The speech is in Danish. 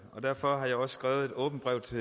derfor har jeg også skrevet et åbent brev til